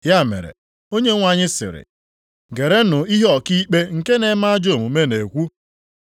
Ya mere Onyenwe anyị sịrị, “Gerenụ ihe ọkaikpe nke na-eme ajọ omume na-ekwu.